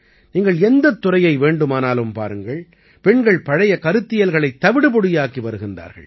நீங்கள் எந்தத் துறையை வேண்டுமானாலும் பாருங்கள் பெண்கள் பழைய கருத்தியல்களைத் தவிடுபொடியாக்கி வருகின்றார்கள்